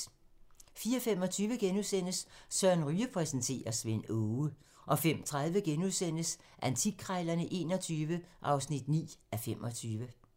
04:25: Søren Ryge præsenterer: Svend Aage * 05:30: Antikkrejlerne XXI (9:25)*